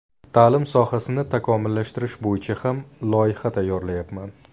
Ta’lim sohasini takomillashtirish bo‘yicha ham loyiha tayyorlayapman.